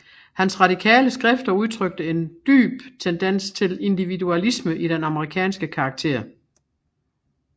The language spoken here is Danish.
Hans radikale skrifter udtrykte en dyp tendens til individualisme i den amerikanske karakter